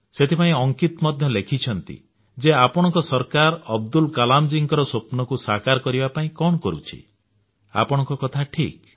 ସେଥିପାଇଁ ଅଙ୍କିତ ମଧ୍ୟ ଲେଖିଛନ୍ତି ଯେ ଆପଣଙ୍କ ସରକାର ଅବଦୁଲ କଲାମ ଜୀଙ୍କର ସ୍ୱପ୍ନକୁ ସାକାର କରିବା ପାଇଁ କଣ କରୁଛି ଆପଣଙ୍କ କଥା ଠିକ୍